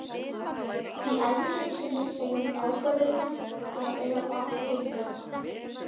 Í ævisögu sinni segir hún ákvörðunina um að eiga barn eigingjarna.